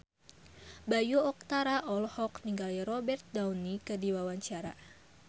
Bayu Octara olohok ningali Robert Downey keur diwawancara